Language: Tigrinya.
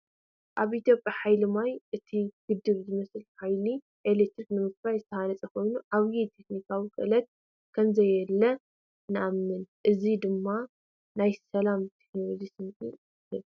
ኣብ ኢትዮጵያ ብሓይሊ ማይ እቲ ግድብ ዝመስል ሓይሊ ኤሌክትሪክ ንምፍራይ ዝተሃንጸ ኮይኑ፡ ዓቢ ቴክኒካዊ ክእለት ከምዘድለየ ይእመን። እዚ ድማ ናይ ሰላምን ቴክኖሎጅን ስምዒት ይህብ።